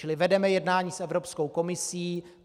Čili vedeme jednání s Evropskou komisí.